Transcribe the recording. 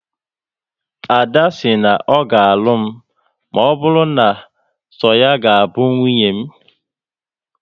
Ada si na ọ ga alụ m maọbụru na so ya ga bụ nwunye m